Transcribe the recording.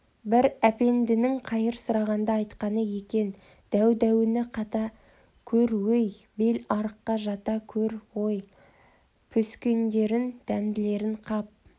бір әпендінің қайыр сұрағанда айтқаны екен дәу-дәуінен қата көр-ой бел арыққа жата көр-ой піскендерін дәмділерін қап